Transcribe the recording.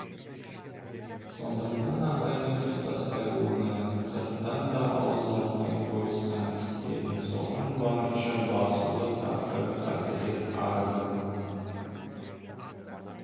сондықтан абаймен ұстаспай оны сырттан да ауызға алмай қойысқан тістерін соған барынша басулы тақсыр хазірет арызымыз